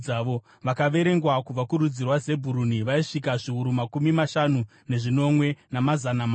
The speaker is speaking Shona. Vakaverengwa kubva kurudzi rwaZebhuruni vaisvika zviuru makumi mashanu nezvinomwe, namazana mana.